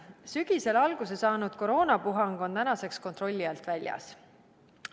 Sügisel alguse saanud koroonapuhang on tänaseks kontrolli alt väljas.